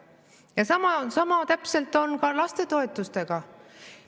Ja täpselt sama on ka lastetoetustega.